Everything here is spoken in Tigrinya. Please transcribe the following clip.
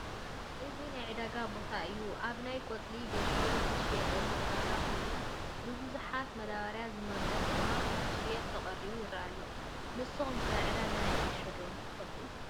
እዚ ናይ ዕዳጋ ቦታ እዩ፡፡ ኣብ ናይ ቆፅሊ ጌሾ ዝሽየጠሉ ዕዳጋ ኮይኑ ብቡዙሕ መዳበርያ ዝመልአ ድማ ንኽሽየጥ ተቐሪቡ ይረአ ኣሎ፡፡ ንስኹም ከ ዕዳጋ ናይ ጌሾ ዶ ትፈልጡ?